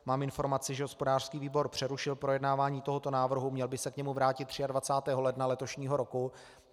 Mám informaci, že hospodářský výbor přerušil projednávání tohoto návrhu, měl by se k němu vrátit 23. ledna letošního roku.